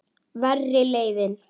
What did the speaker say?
Verri leiðin.